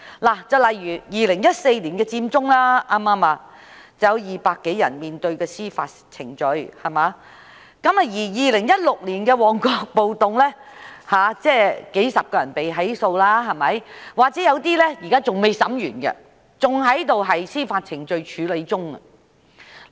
例如2014年的佔中，便有200多人面對司法程序 ；2016 年的旺角暴動，也有數十人被起訴，有些現在審訊還未完成，仍在司法程序處理中。